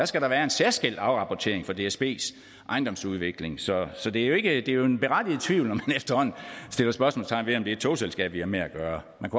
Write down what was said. skal der være en særskilt afrapportering for dsbs ejendomsudvikling så så det er jo en berettiget tvivl når man efterhånden sætter spørgsmålstegn ved om det er et togselskab vi har med at gøre man